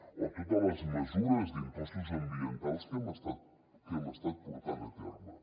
o totes les mesures d’impostos ambientals que hem estat portant a terme